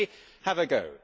So let me have a go.